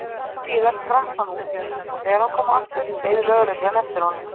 Litlu síðar skrapp hann út og þegar hann kom aftur beið lögreglan eftir honum.